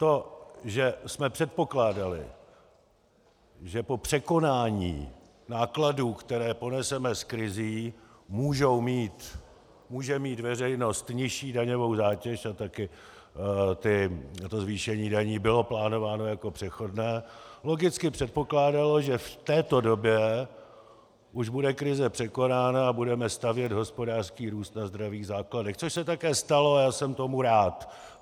To, že jsme předpokládali, že po překonání nákladů, které poneseme s krizí, může mít veřejnost nižší daňovou zátěž - a také to zvýšení daní bylo plánováno jako přechodné - logicky předpokládalo, že v této době už bude krize překonána a budeme stavět hospodářský růst na zdravých základech, což se také stalo a já jsem tomu rád.